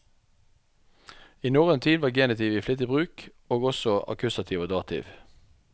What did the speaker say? I norrøn tid var genitiv i flittig bruk, og også akkusativ og dativ.